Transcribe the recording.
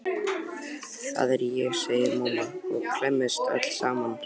Það er ég, segir mamma og klemmist öll saman.